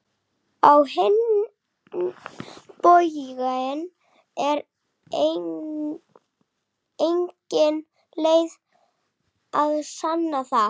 Á hinn bóginn er engin leið að sanna það.